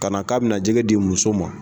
Ka na k'a bɛna jɛgɛ di muso ma